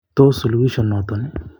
Tos suluhiso noton?